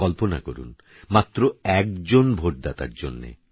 কল্পনা করুন মাত্র একজন ভোটদাতার জন্যে